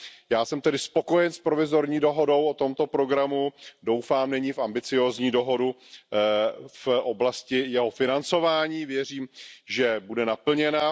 Já jsem tedy spokojen s provizorní dohodou o tomto programu, doufám nyní v ambiciózní dohodu v oblasti jeho financování a věřím, že bude naplněna.